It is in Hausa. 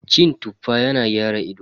Cin Tuffa yana gyara ido.